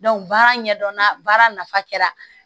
baara ɲɛdɔnna baara nafa kɛra